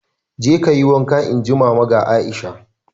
"Jeka kayi wanka!" Inji Mama ga Aisha